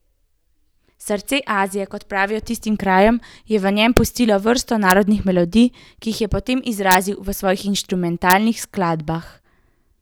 Srce Azije, kot pravijo tistim krajem, je v njem pustilo vrsto narodnih melodij, ki jih je potem izrazil v svojih instrumentalnih skladbah.